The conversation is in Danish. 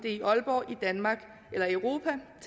er i aalborg i danmark